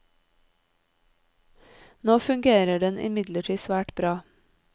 Nå fungerer den imidlertid svært bra.